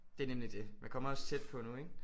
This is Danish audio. Det er nemlig det. Man kommer også tæt på nu ik?